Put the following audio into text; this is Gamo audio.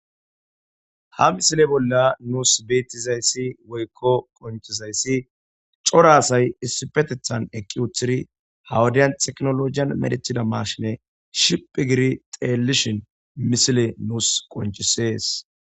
ha misile bolla nuus beettizayssi woykko qonchizayssi cora asay issipetethan eqqi uthidi hawadiyan teknologiyan medethida marshine shiphi giri xeellishin misile nuus qoncisees.